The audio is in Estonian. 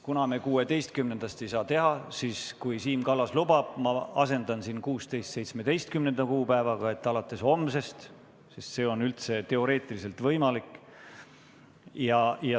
Kuna me 16. detsembrist seda rakendada ei saa, siis Siim Kallase loal asendan ma 16. kuupäeva 17. kuupäevaga – alates homsest –, sest see on teoreetiliselt võimalik.